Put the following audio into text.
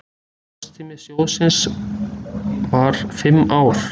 Starfstími sjóðsins var fimm ár.